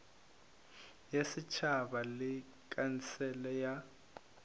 ya setšhaba le khansele ya